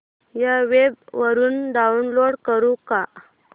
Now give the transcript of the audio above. या वेब वरुन डाऊनलोड करू का